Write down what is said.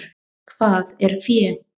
Hvað er fé?